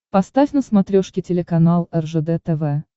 поставь на смотрешке телеканал ржд тв